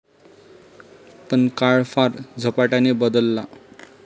पण, काळ फार झपाट्याने बदलला.